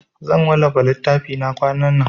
Zan wallafa littafina kwanan nan.